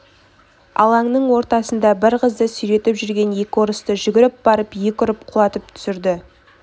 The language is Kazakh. алаңның ортасында бір қызды сүйретіп жүрген екі орысты жүгіріп барып екі ұрып құлатып түсірді